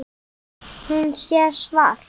Hún sér svart.